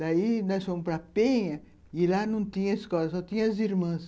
Daí nós fomos para Penha e lá não tinha escola, só tinha as irmãs.